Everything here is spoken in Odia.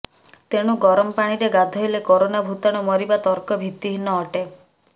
ତେଣୁ ଗରମ ପାଣିରେ ଗାଧୋଇଲେ କରୋନା ଭୂତାଣୁ ମରିବା ତର୍କ ଭିତ୍ତିହୀନ ଅଟେ